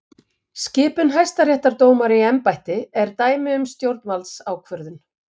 Skipun hæstaréttardómara í embætti er dæmi um stjórnvaldsákvörðun.